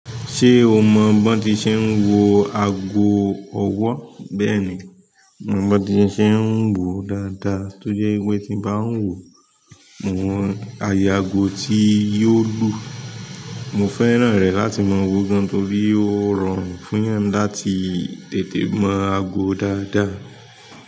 Ṣé o mọ b'ọ́n ti ṣe ń wo ago ọwọ́. Bẹ́ẹ̀ni, mo mọ̀ b'ọ́ti ṣe ń wòó dáadáa tójẹ́ wípé tí n bá ń wòó mo mọ àyè ago tí yóò lù. Mo fẹ́ràn rẹ̀ láti màa wòó gan torí ó rọrùn fún'yàn láti tètè mọ ago dáadáa.